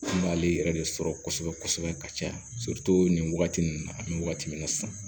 N b'ale yɛrɛ de sɔrɔ kosɛbɛ kosɛbɛ ka caya nin wagati ninnu na an bɛ wagati min na sisan